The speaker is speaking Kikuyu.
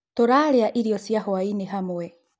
Tũrarĩa irĩo cia hwainĩ hamwe